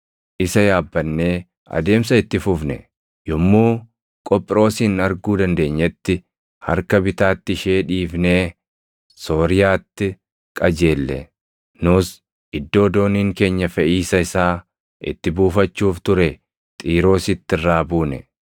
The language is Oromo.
Yommuu Qophiroosin arguu dandeenyetti, harka bitaatti ishee dhiifnee Sooriyaatti qajeelle; nus iddoo dooniin keenya feʼiisa isaa itti buufachuuf ture Xiiroositti irraa buune.